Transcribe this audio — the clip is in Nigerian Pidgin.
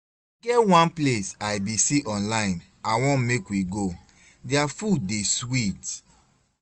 E get one place I bin see online I wan make we go, dia food dey sweet